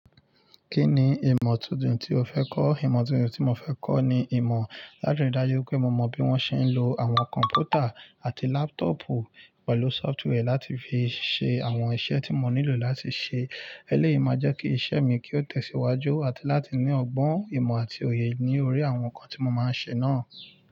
Kí ni ìmọ̀ tuntun tí o fẹ́ kọ́? Ìmọ̀ tuntun tí mo fẹ́ kọ́ ni ìmọ̀ látirí dájú pé mo mọ bí wọ́n ṣe ń lo àwọn kọ̀m̀pútà àti lápútọ̀ọ̀pù pẹ̀lú sọ́fútíwẹ́ẹ̀ láti fi ṣe àwọn iṣẹ́ tí mo nílò láti ṣe. Eleyi ma jẹ́ kí iṣẹ́ mi kí ó tẹ̀síwájú àti láti ní ọgbọ́n ìmọ̀ àti òye ní orí àwọn nǹkan tí mo máa ń ṣe náà.